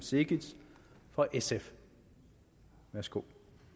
cekic fra sf værsgo